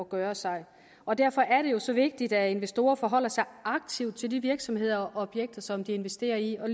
gøre sig og derfor er det jo så vigtigt at investorer forholder sig aktivt til de virksomheder og objekter som de investerer i